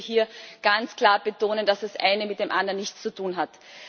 Ich möchte hier ganz klar betonen, dass das eine mit dem anderen nichts zu tun hat.